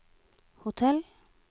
hotell